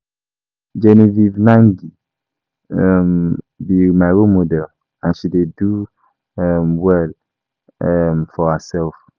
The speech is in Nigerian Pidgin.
Genevieve Nnaji um be my role model and she dey do um well um for herself